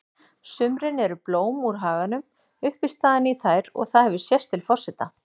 sumrin eru blóm úr haganum uppistaðan í þær og það hefur sést til forseta